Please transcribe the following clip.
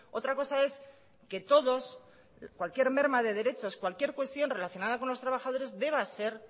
otra cosa es que todos cualquier merma de derechos cualquier cuestión relacionada con los trabajadores deba ser